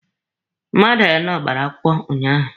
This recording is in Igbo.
Mmadụ anọ gbara akwụkwọ ụnyaahụ.